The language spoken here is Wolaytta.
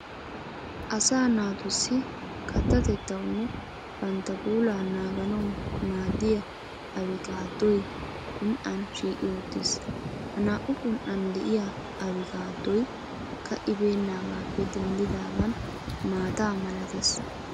Asaa naatussi kattatettawunne bantta puulaa naaganawu maaddiya abikattoy qun"an shiiqi uttiis. Ha naa"u qun"an de'iya abkkattoykka ka"ibennagaappe denddaagan maata malatees.